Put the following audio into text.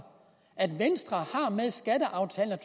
at venstre med skatteaftalen